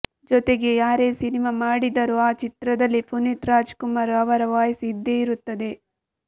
ಜೊತೆಗೆ ಯಾರೇ ಸಿನಿಮಾ ಮಾಡಿದರೂ ಆ ಚಿತ್ರದಲ್ಲಿ ಪುನೀತ್ ರಾಜ್ ಕುಮಾರ್ ಅವರ ವಾಯ್ಸ್ ಇದ್ದೇ ಇರುತ್ತದೆ